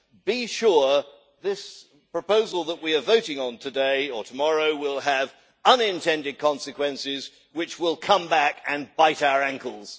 Be sure, this proposal that we are voting on today or tomorrow, will have unintended consequences which will come back and bite our ankles.